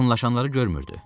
Yaxınlaşanları görmürdü.